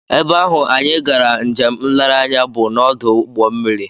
Ebe ahụ anyị gara njem nlereanya bụ n'ọdụ ụgbọmmiri